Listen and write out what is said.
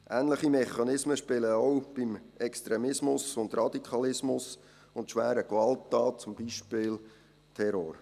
Ähnliche Mechanismen wirken auch beim Extremismus, beim Radikalismus und bei schweren Gewalttaten, zum Beispiel Terror.